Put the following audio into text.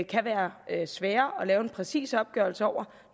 kan være svære at lave en præcis opgørelse over